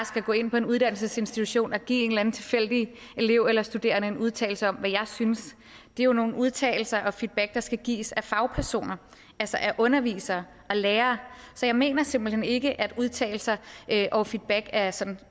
skal gå ind på en uddannelsesinstitution og give en eller anden tilfældigt elev eller studerende en udtalelse om hvad jeg synes det er jo nogle udtalelser og feedback der skal gives af fagpersoner altså af undervisere og lærere så jeg mener simpelt hen ikke at udtalelser og feedback er sådan